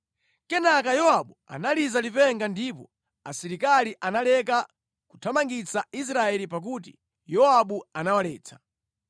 Kenaka Yowabu analiza lipenga ndipo asilikali analeka kuthamangitsa Israeli pakuti Yowabu anawaletsa.